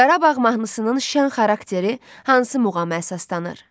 Qarabağ mahnısının şən xarakteri hansı muğama əsaslanır?